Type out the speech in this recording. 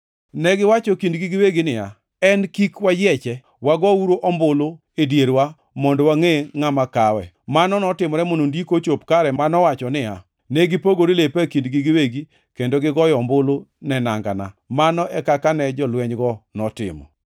Negiwacho e kindgi giwegi niya, “En kik wayieche. Wagouru ombulu e dierwa mondo wangʼe ngʼama kawe.” + 19:24 \+xt Zab 22:18\+xt* Mano notimore mondo Ndiko ochop kare manowacho niya, “Ne gipogore lepa e kindgi giwegi kendo gigoyo ombulu ne nangana.” Mano e kaka ne jolwenygo notimo.